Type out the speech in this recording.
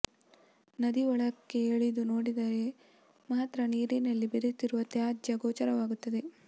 ನದಿ ಒಳಕ್ಕೆ ಇಳಿದು ನೋಡಿದರೆ ಮಾತ್ರ ನೀರಿನಲ್ಲಿ ಬೆರೆತಿರುವ ತಾಜ್ಯ ಗೋಚರವಾಗುತ್ತದೆ